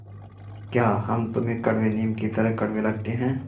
या हम तुम्हें कड़वे नीम की तरह कड़वे लगते हैं